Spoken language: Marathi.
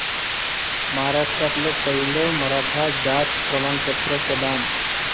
महाराष्ट्रातलं पहिलं मराठा जात प्रमाणपत्र प्रदान